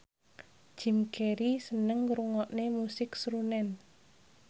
Jim Carey seneng ngrungokne musik srunen